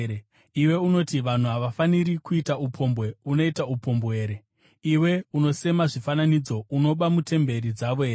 Iwe unoti vanhu havafaniri kuita upombwe, unoita upombwe here? Iwe unosema zvifananidzo, unoba mutemberi dzavo here?